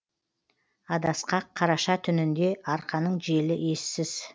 адасқақ қараша түнінде арқаның желі ессіз